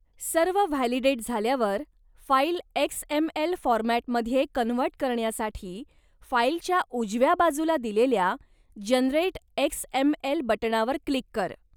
सर्व व्हॅलिडेट झाल्यावर, file XML फॉरमॅटमध्ये कन्व्हर्ट करण्यासाठी फाइलच्या उजव्या बाजूला दिलेल्या 'जनरेट एक्स एम एल ' बटणावर क्लिक कर.